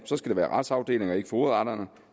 være retsafdelingen og ikke fogedretterne